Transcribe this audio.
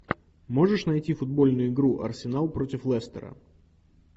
можешь найти футбольную игру арсенал против лестера